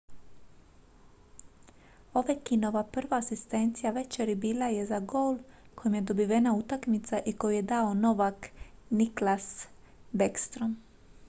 ovechkinova prva asistencija večeri bila je za gol kojim je dobivena utakmica i koji je dao novak nicklas backstrom